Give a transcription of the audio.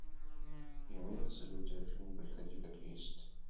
имеется ли у тебя фильм приходи как есть